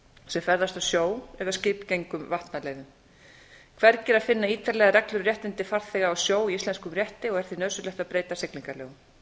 sem ferðast á sjó eða skipgengum vatnaleiðum hvergi er að finna ítarlegar reglur um réttindi farþega á sjó í íslenskum rétti er því nauðsynlegt að breyta siglingalögum